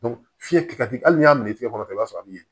fiɲɛ ka di hali n'a y'a minɛ tigɛ kɔrɔ i b'a sɔrɔ a bɛ ɲɛ